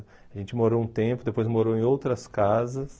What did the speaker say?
A gente morou um tempo, depois morou em outras casas.